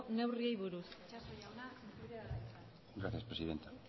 neurriei buruz itxaso jauna zurea da hitza gracias presidenta